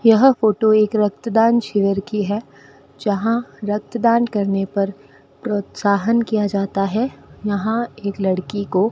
यह फोटो एक रक्तदान शिविर की है जहां रक्तदान करने पर प्रोत्साहन किया जाता है यहां एक लड़की को --